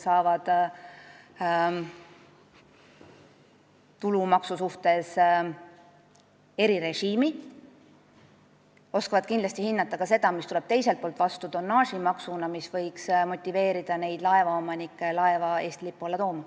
Ma arvan, et lisaks oskavad nad kindlasti hinnata seda teist poolt ehk tonnaažimaksu, mis võiks motiveerida laevaomanikke oma laevu Eesti lipu alla tooma.